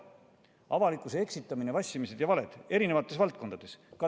Avalikkuse eksitamine, vassimine ja valed erinevates valdkondades.